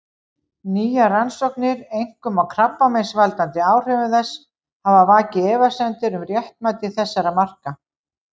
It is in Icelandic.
Nýjar rannsóknir, einkum á krabbameinsvaldandi áhrifum þess, hafa vakið efasemdir um réttmæti þessara marka.